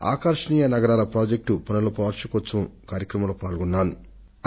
smart cities project వార్షికోత్సవం సందర్భంగా నిన్న నేను పుణెకు వెళ్లాను